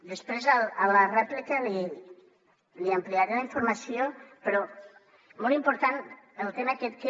després a la rèplica li ampliaré la informació però molt important el tema aquest que